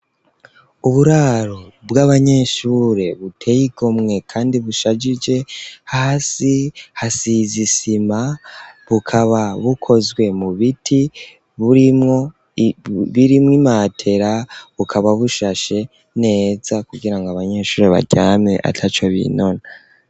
Uburaro bw'abanyeshure buteye igomwe kandi bushagije hasi hasize isima bukaba bukozwe mu biti burimwo imatera bukaba bushashe neza kugira ngo abanyeshure baryame ataco binona.